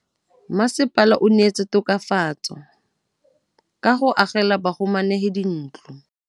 Mmasepala o neetse tokafatsô ka go agela bahumanegi dintlo.